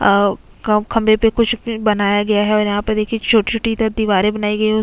अउ खअ खंभे पे कुछ भी बनाया गया है और यहाँ पे देखिए छोटी-छोटी इधर दीवारे बनाई गई है उ--